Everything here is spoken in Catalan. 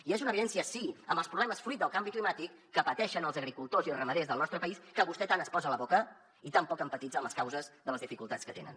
i és una evidència sí amb els problemes fruit del canvi climàtic que pateixen els agricultors i ramaders del nostre país que vostè tant es posa a la boca i tan poc empatitza amb les causes de les dificultats que tenen